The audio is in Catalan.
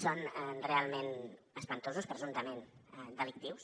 són realment espantosos presumptament delictius